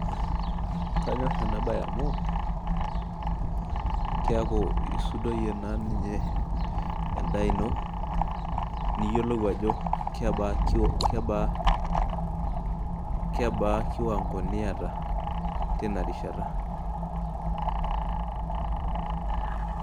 Knayorr ena baye amu keeku isudoyie naa ninye endaa ino niyiolou ajo kebaa kiwango niata tina rishata.